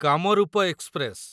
Kamrup express